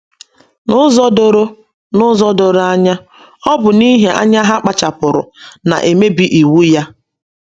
N’ụzọ doro N’ụzọ doro anya, ọ bụ n’ihi anya ha kpachapụrụ na - emebi Iwu ya.